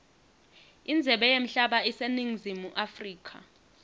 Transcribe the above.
indzebe yemhlaba iseningizimu africa